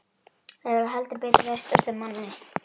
Það hefur heldur betur ræst úr þeim manni!